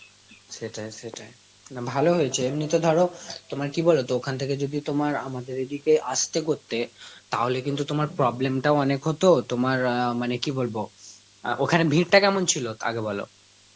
সেটাই সেটাই, না ভালো হয়েছে, এমনিতে ধরো তোমার কি বলে, তো ওখান থেকে যদি তোমার আমাদের এই দিকে আসতে করতে, তাহলে কিন্তু তোমার problem তাও অনেক হত, তোমার অ্যাঁ মানে কি বলবো আ ওখানে ভীড়টা কেমন ছিল আগে বলো?